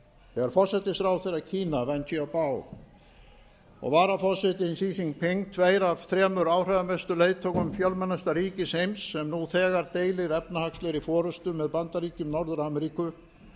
þegar forsætisráðherra kína wen jiabao og varaforsetinn xi jinping tveir af þremur áhrifamestu leiðtogum fjölmennasta ríkis heims sem nú þegar deilir efnahagslegri forustu með bandaríkjum norður ameríku